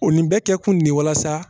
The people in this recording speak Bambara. O nin bɛ kɛ kun de ye walasa